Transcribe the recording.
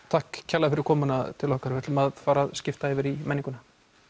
takk kærlega fyrir komuna til okkar við ætlum að fara að skipta yfir í menninguna